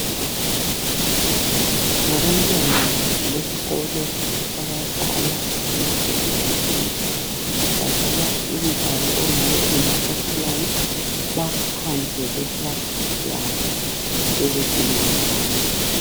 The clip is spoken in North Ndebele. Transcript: Ngabantwana besikolo abadlala ,ngabo ECD.Badlala umdlalo ongabe ungumacatshelana. Baphandle kwekilasi yabo, sebedingwa ngabanye.